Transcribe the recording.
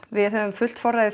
við höfum fullt forræði